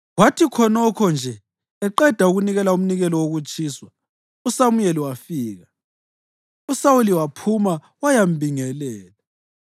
Kwathi khonokho nje eqeda ukunikela umnikelo wokutshiswa, uSamuyeli wafika, uSawuli waphuma wayambingelela.